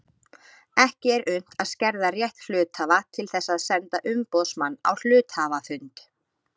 Ekki er unnt að skerða rétt hluthafa til þess að senda umboðsmann á hluthafafund.